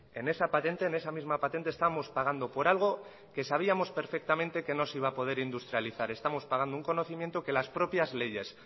en esa patente en esa misma patente estamos pagando por algo que sabíamos perfectamente que no se iba a poder industrializar estamos pagando un conocimiento que las propias leyes